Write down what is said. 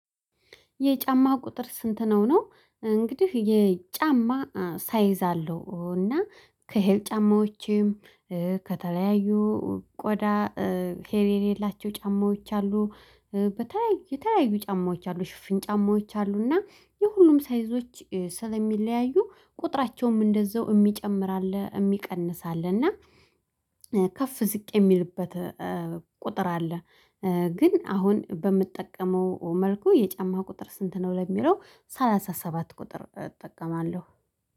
የጫማ ቁጥር ስንት ነው? ነው እንግዲህ የጫማ ሳይዝ አለው እና ከሄል ጫማዎቼም ከተለያዩ ቆዳ ሄሌ የሌላቸው ጫማዎች አሉ። የተለያዩ ጫማዎች አሉ ሽፍን ጫማዎች አሉ እና የሁሉም ሳይዞች ስለሚለያዩ ቁጥራቸውም እንደዛው እሚጨምር አለ እሚቀንስ አለ እና ከፍ ዝቅ የሚልበት ቁጥር አለ። ግን አሁን በምጠቀመው መልኩ የጫማ ቁጥር ስንት ነው ለሚለው ሰላሳ ሰባት ቁጥር እጠቀማለሁ